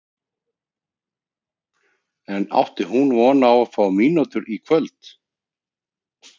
En átti hún von á að fá mínútur í kvöld?